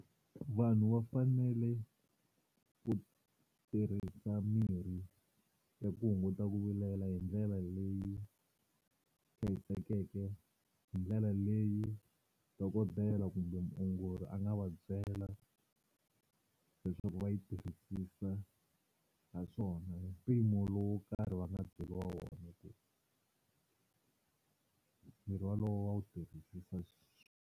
Vanhu va fanele ku tirhisa mirhi ya ku hunguta ku vilela hi ndlela leyi hlayisekeke, hi ndlela leyi dokodela kumbe muongori a nga va byela leswaku va yi tirhisisa haswona hi mpimo lowu wo karhi va nga byeriwa wona, mirhi wolowo va wu tirhisa.